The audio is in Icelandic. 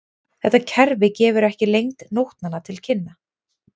Þetta kerfi gefur ekki lengd nótnanna til kynna.